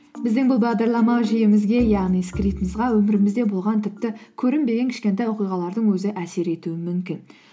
біздің бұл бағдарламау жүйемізге яғни скриптымызға өмірімізде болған тіпті көрінбеген кішкентай оқиғалардың өзі әсер етуі мүмкін